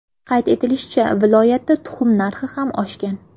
Qayd etilishicha, viloyatda tuxum narxi ham oshgan.